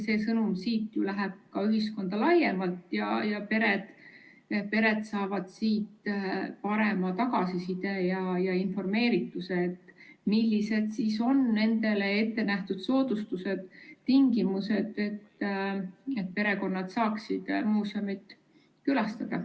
See sõnum läheb siit ka ühiskonda laiemalt ja pered saavad paremini informeeritud, millised on nendele ettenähtud soodustused, tingimused, et perekonnad saaksid muuseumit külastada.